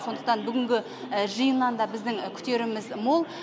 сондықтан бүгінгі жиыннан да біздің күтеріміз мол